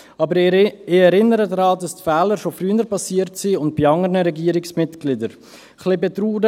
Aber ich erinnere daran, dass die Fehler schon früher und bei anderen Regierungsmitgliedern passiert sind.